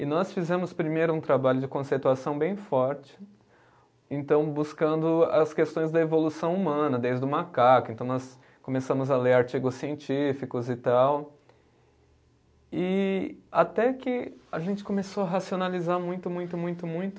E nós fizemos primeiro um trabalho de conceituação bem forte, então buscando as questões da evolução humana, desde o macaco, então nós começamos a ler artigos científicos e tal, e até que a gente começou a racionalizar muito, muito, muito, muito